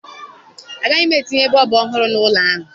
Agaghị m etinye bọọbụ ọhụrụ n'ọnụ ụlọ ahụ